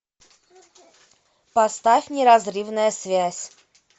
поставь неразрывная связь